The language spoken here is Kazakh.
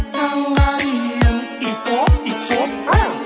таңға дейін ит боп ит боп